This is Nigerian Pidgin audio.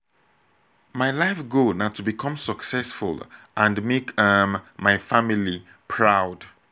my life goal na to become successful and make um my family proud.